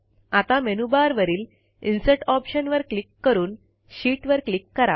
आता मेनूबारवरील इन्सर्ट ऑप्शनवर क्लिक करून शीत वर क्लिक करा